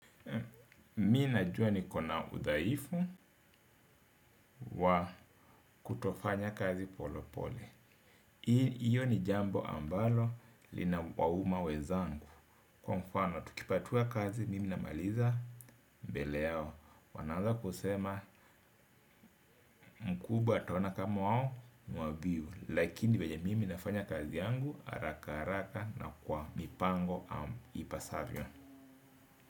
Mi na jua niko na udhaifu wa kutofanya kazi polopole. Iyo ni jambo ambalo linawauma wenzangu. Kwa mfano tukipatiwa kazi mimi na maliza mbele yao wanaanza kusema mkubwa ataona kama wao ni wavivu. Lakini venye mimi nafanya kazi yangu haraka haraka na kwa mipango ipasavyo.